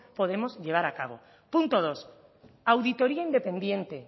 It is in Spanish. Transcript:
podemos llevar a cabo punto dos auditoría independiente